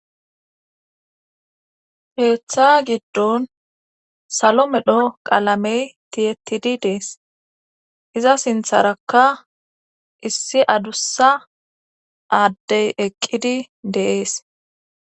Keeththa giddon salo medho qaalamey tiyetidi dees iza sintharakka issi adussa aaddey eqqidi de'ees